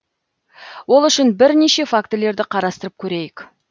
ол үшін бірнеше фактілерді қарастырып көрейік